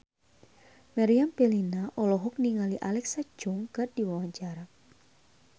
Meriam Bellina olohok ningali Alexa Chung keur diwawancara